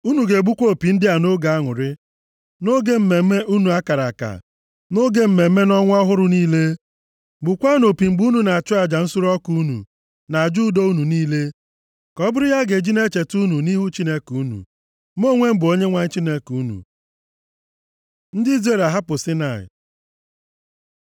Unu ga-egbukwa opi ndị a nʼoge aṅụrị, nʼoge mmemme unu a kara aka, na nʼoge mmemme ọnwa ọhụrụ niile. Gbukwaanụ opi mgbe unu na-achụ aja nsure ọkụ unu, na aja udo unu niile. Ka ọ bụrụ ihe a ga-eji na-echeta unu nʼihu Chineke unu. Mụ onwe m bụ Onyenwe anyị Chineke unu.” Ndị Izrel ahapụ Saịnaị